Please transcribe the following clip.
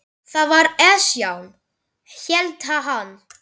Það var Esjan, hélt hann.